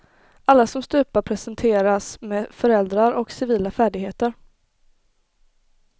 Alla som stupar presenteras med föräldrar och civila färdigheter.